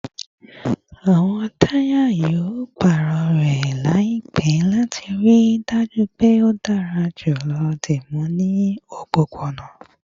Awọn taya yoo paarọ rẹ laipẹ lati rii daju pe o dara julọ dimu ni opopona